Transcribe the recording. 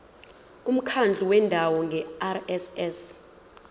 umkhandlu wendawo ngerss